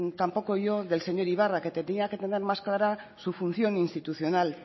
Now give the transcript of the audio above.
tampoco yo del señor ibarra que tendría que tener más clara su función institucional